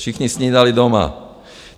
Všichni snídali doma.